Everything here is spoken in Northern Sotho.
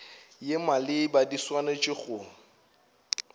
ye maleba di swanetše go